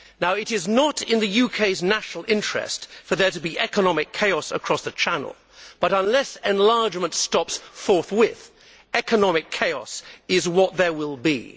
It is not in the UK's national interest for there to be economic chaos across the channel but, unless enlargement stops forthwith, economic chaos is what there will be.